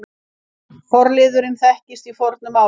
Forliðurinn þekkist í fornu máli.